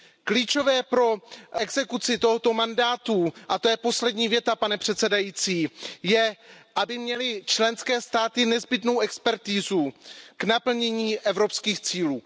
Klíčové pro exekuci tohoto mandátu, a to je poslední věta, pane předsedající, je, aby měly členské státy nezbytnou expertizu k naplnění evropských cílů.